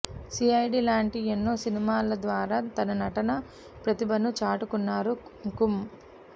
CID లాంటి ఎన్నో సినిమాల ద్వారా తన నటనా ప్రతిభను చాటుకున్నారు కుంకుమ్